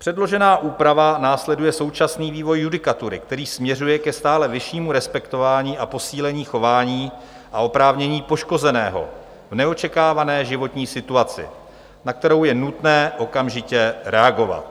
Předložená úprava následuje současný vývoj judikatury, který směřuje ke stále vyššímu respektování a posílení chování a oprávnění poškozeného v neočekávané životní situaci, na kterou je nutné okamžitě reagovat.